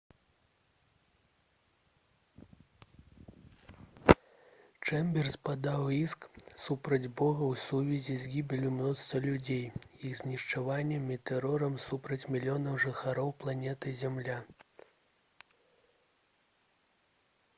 чэмберс падаў іск супраць бога ў сувязі з «гібеллю мноства людзей іх знішчэннем і тэрорам супраць мільёнаў жыхароў планеты зямля»